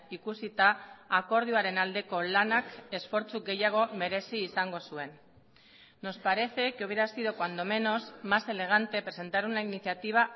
ikusita akordioaren aldeko lanak esfortzu gehiago merezi izango zuen nos parece que hubiera sido cuando menos más elegante presentar una iniciativa